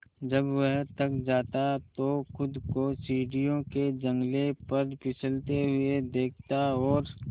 जब वह थक जाता तो खुद को सीढ़ियों के जंगले पर फिसलते हुए देखता और